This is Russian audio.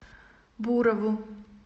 бурову